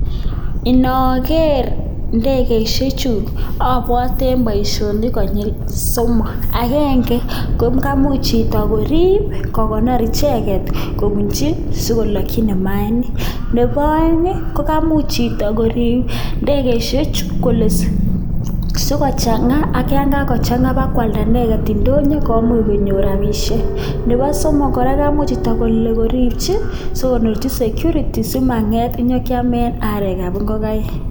Inogeer indegeishechu abwaten boisionik konyil somok, agenge, ko ngaimuch chito koriip kokonor icheket kobunchi, sikolokchin mayainik. Nebo aeng, ko kamuch chito koriip indegeishekchu kole sikochanga, ako yon kakochanga ipkoalda ineget indonyo komuch konyor rapishiek. Nebo somok kora, komuch kole chito koriipchi sikoripchi security simanget nyekiame arekab ngokaik.